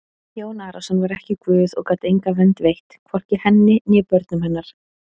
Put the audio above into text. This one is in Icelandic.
Jón Arason var ekki Guð og gat enga vernd veitt, hvorki henni né börnum hennar!